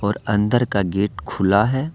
और अंदर का गेट खुला है।